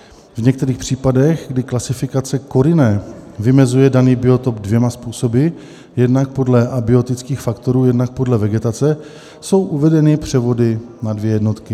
V některých případech, kdy klasifikace CORINE vymezuje daný biotop dvěma způsoby, jednak podle abiotických faktorů, jednak podle vegetace, jsou uvedeny převody na dvě jednotky.